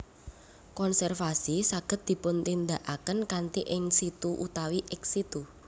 Konservasi saged dipuntindakaken kanthi in situ utawi ex situ